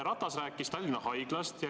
Ratas rääkis Tallinna Haiglast.